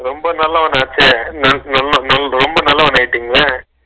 ரொம்ப நல்லவனாச்ச என் என் ரொம்ப நல்லவன் ஆகிடிங்க